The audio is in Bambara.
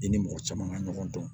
I ni mɔgɔ caman ka ɲɔgɔn dɔn